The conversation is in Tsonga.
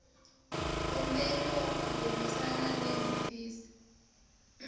komberiwa ku burisana ni hofisi